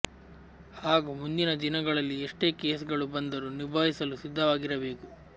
ಹಾಗೂ ಮುಂದಿನ ದಿನಗಳಲ್ಲಿ ಎಷ್ಟೇ ಕೇಸ್ ಗಳು ಬಂದರು ನಿಬಾಯಿಸಲು ಸಿದ್ದವಾಗಿರಬೇಕು